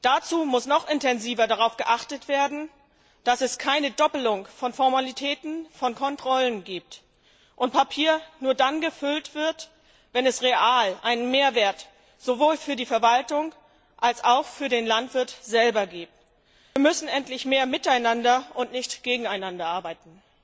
Dazu muss noch intensiver darauf geachtet werden, dass es keine Doppelung von Formalitäten, von Kontrollen gibt und Papier nur dann gefüllt wird, wenn es real einen Mehrwert sowohl für die Verwaltung als auch für den Landwirt selbst gibt. Wir müssen endlich mehr miteinander und nicht gegeneinander arbeiten.